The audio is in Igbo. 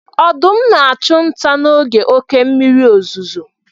Ọdụm na-achụ nta n'oge oké mmiri ozuzo.